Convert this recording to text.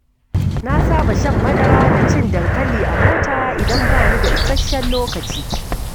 Na saba shan madara da cin dankali a mota idan bani da isasshen lokaci.